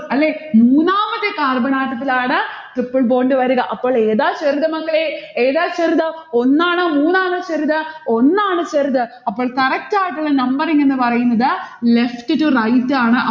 അല്ലെ? മൂന്നാമത്തെ carbon atom ത്തിലാണ് triple bond വരിക. അപ്പോൾ ഏതാ ചെറുത് മക്കളെ? ഏതാ ചെറുത്? ഒന്നാണോ മൂന്നാണോ ചെറുത്? ഒന്നാണ് ചെറുത്. അപ്പോൾ correct ആയിട്ടുള്ള numbering എന്ന് പറയുന്നത് left to right ആണ്.